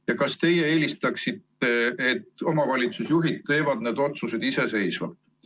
Ja kas teie eelistate, et omavalitsusjuhid teevad need otsused iseseisvalt?